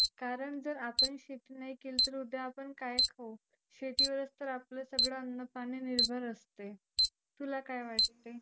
कारण आपण जर शेती नाही केली तर उद्या आपण काय खाऊ. शेतीवरच तर आपलं सगळ अन्नपाणी निर्भर असते. तुला काय वाटते.